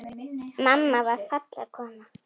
Mamma var falleg kona.